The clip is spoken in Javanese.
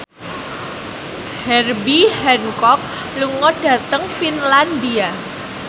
Herbie Hancock lunga dhateng Finlandia